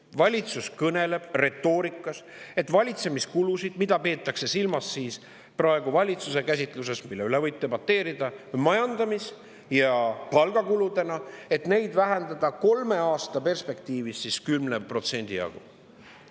Valitsus kõneleb retoorikas, et valitsemiskulusid, mida valitsuse käsitluse järgi, mille üle võib debateerida, majandamis‑ ja palgakuludeks, vähendada kolme aasta perspektiivis 10% jagu.